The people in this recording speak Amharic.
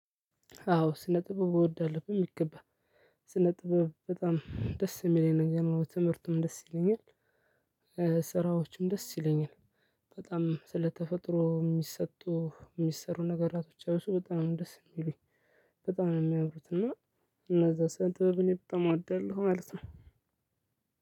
አዎ ስነ ጥበብ እወዳለሁ በሚገባ ስነ ጥበብ በጣም ደስ ሚለኝ ነገር ነው ትምህርቱም ደስ ይለኛል። ስራዎችም ደስ ይለኛል። በጣም ስለተፈጥሮ ሚሰጡ ሚሰሩ ነገራቶች ያው እሱ በጣም ነው ደስ ሚሉኝ። በጣም ነው ሚያምሩት። እና እነዛ ስነ ጥበብን በጣም እወዳለሁ ማለት ነው።